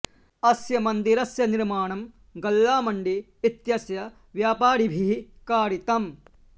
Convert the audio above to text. अस्य मन्दिरस्य निर्माणं गल्ला मण्डी इत्यस्य व्यापारिभिः कारितम्